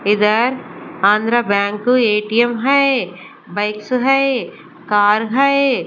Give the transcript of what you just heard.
इधर Andhra bank ATM हैए bikes हैए कार हैए ।